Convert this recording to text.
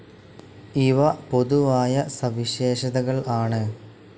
ഇവ പൊതുവായ സവിശേഷതകൾ ആണ്.